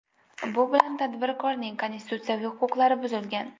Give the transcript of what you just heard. Bu bilan tadbirkorning konstitutsiyaviy huquqlari buzilgan.